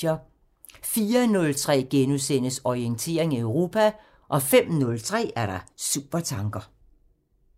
04:03: Orientering Europa * 05:03: Supertanker